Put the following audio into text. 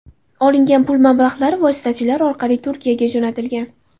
Olingan pul mablag‘lari vositachilar orqali Turkiyaga jo‘natilgan.